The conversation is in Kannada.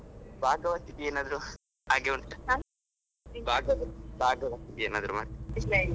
ಭಾಗವತಿಗೆ ಏನಾದ್ರು ಹಾಗೆ ಉಂಟಾ? ಭಾಗವತಿಗೆ ಏನಾದ್ರೂ ಮಾಡ್ತೀರಾ.